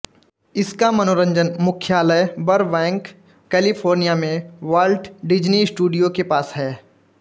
इसका मनोरंजन मुख्यालय बरबैंक कैलिफोर्निया में वाल्ट डिज़्नी स्टूडियोज़ के पास है